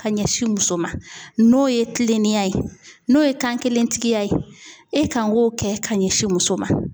Ka ɲɛsin muso ma n'o ye kiliniya ye, n'o ye kan kelentigiya ye e kan k'o kɛ ka ɲɛsin muso ma.